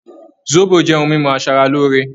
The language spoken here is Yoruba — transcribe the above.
Zobo jẹ́ ohun mímu asara lóore